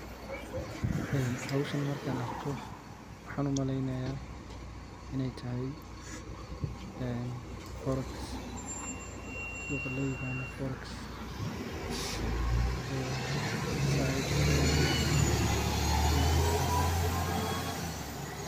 Eeh howshan amrkan arko waxaan umaleynaya inuu yahay forex suqa looyaqano forex sidhaa ayaan maeleynaya hadii aan qaldin.